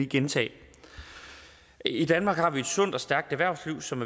gentage i danmark har vi et sundt og stærkt erhvervsliv som